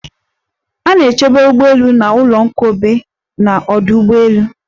A na-echebe ugbọelu na ụlọnkobe n'ọdụ ụgbọelu.